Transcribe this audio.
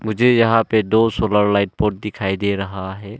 मुझे यहां पे दो सोलर लाइट बोर्ड दिखाई दे रहा है।